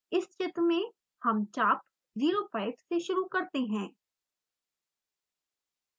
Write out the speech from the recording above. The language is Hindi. इस चित्र में हम चाप 0 5 से शुरू करते हैं